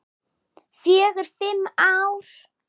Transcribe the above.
Fjögur, fimm ár.